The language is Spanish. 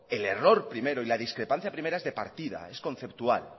el error primero y la discrepancia primera es de partida es conceptual